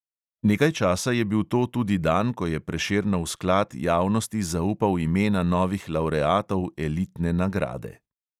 Nekaj časa je bil to tudi dan, ko je prešernov sklad javnosti zaupal imena novih lavreatov elitne nagrade.